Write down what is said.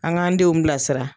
An k'an denw bilasira.